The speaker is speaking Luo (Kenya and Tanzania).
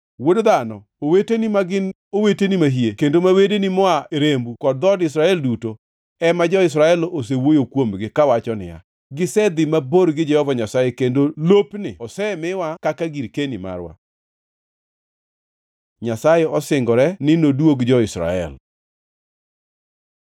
“Wuod dhano, oweteni, ma gin oweteni mahie kendo ma wedeni moa e rembu kod dhood Israel duto, ema jo-Jerusalem osewuoyo kuomgi kawacho ni, ‘Gisedhi mabor gi Jehova Nyasaye, kendo lopni osemiwa kaka girkeni marwa.’ Nyasaye osingore ni noduog jo-Israel